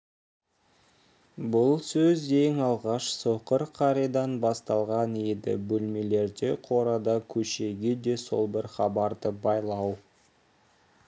бұл сөз ең алғаш соқыр қаридан басталған еді бөлмелерде қорада көшеге де сол бір хабарды байлау